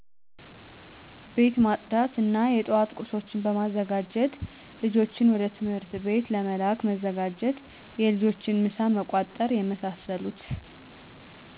ቤት በማፅዳት እና የጠዋት ቁርሶችን በማዘጋጀት ልጆችን ወደ ትምህርት ቤት ለመላክ መዘጋጀት የልጆችን ምሳ መቋጠር የመሳሰሉት